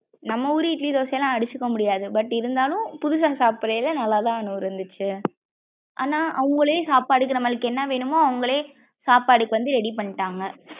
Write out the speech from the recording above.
நம்ம ஊரு இட்லி தோசைலாம் அடிச்சுக்க முடியாது but இருந்தாலும் புதுசா சப்டைல நல்லா தான் அனு இருந்துச்சு ஆனா அவுங்களே சாப்பாடுக்கு நம்மக்கு என்ன வேணும்மோ அவுங்களே சாப்பாடுக்கு வந்து ready பண்ணிடாங்க.